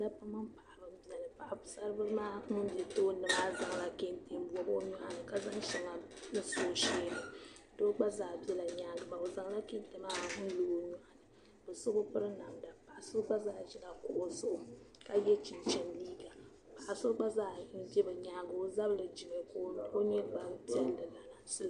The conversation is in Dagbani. Dabbi. mini paɣiba nzaya paɣisari bili maa ŋun be tooni maa, ɔzaŋla kentɛ n bɔb ɔ nyɔɣini ka zaŋ shaŋa n-so ɔsheeni do' gba zaa bela nyaaŋa maa ozaŋ la kentɛ. maa nlɔ ɔnyɔɣur kaso bi piri namda, kaso dabam zila kuɣu zuɣu ka ye chinchini liiga, paɣiso gba zaa nzɛ bi nyaaŋa, ɔzabri nimi, ka o nyɛ gban piɛli laasabu.